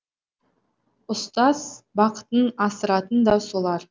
ұстаз бақытын асыратын да солар